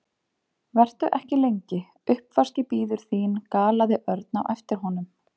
Vertu ekki lengi, uppvaskið bíður þín galaði Örn á eftir honum.